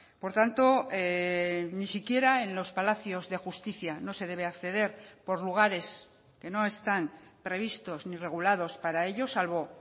por tanto ni siquiera en los palacios de justicia no se debe acceder por lugares que no están previstos ni regulados para ello salvo